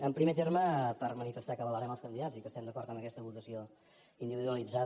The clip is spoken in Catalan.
en primer terme per manifestar que avalarem els candidats i que estem d’acord amb aquesta votació individualitzada